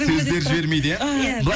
сөздері жібермейді иә